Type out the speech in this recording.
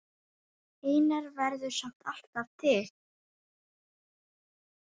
Einar verður samt alltaf til.